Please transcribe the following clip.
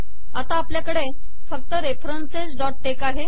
आता आपल्याकडे फक्त referencesटेक्स आहे